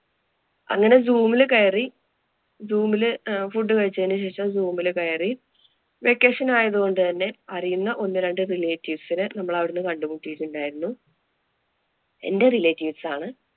അങ്ങനെ zoom ല് കയറി. Zoom ല് food കഴിച്ചതിനു ശേഷം zoom ല് കയറി. Vacation ആയതുകൊണ്ട് തന്നെ അറിയുന്ന ഒന്നുരണ്ട് relatives നെ നമ്മള് അവിടുന്ന് കണ്ടുമുട്ടിയിട്ടുണ്ടായിരുന്നു. എന്‍റെ relatives ആണ്.